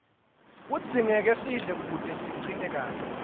kudzingeka sidle kute sicine kahle